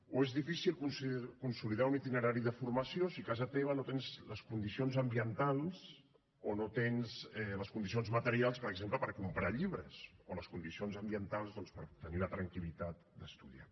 o és difícil consolidar un itinerari de formació si a casa teva no tens les condicions ambientals o no tens les condicions materials per exemple per comprar llibres o les condicions ambientals doncs per tenir la tranquil·litat d’estudiar